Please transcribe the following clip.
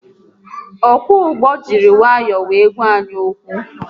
Ọkwọ ụgbọ jiri nwayọọ were gwa anyị okwu